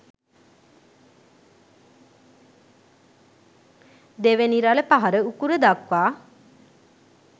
දෙවැනි රළ පහර උකුල දක්වා